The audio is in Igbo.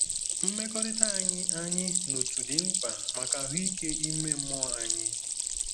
Mmekọrịta anyị anyị na otu dị mkpa maka ahụike ime mmụọ anyị.